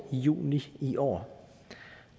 juni i år